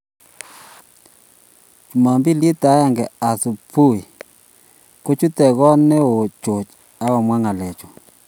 Jumapili agenge asubuhi kichut got neoo George akomwa ngalechu